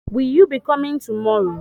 Will you be coming tomorrow?